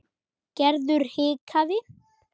Gerður hikaði.